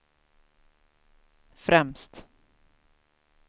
främst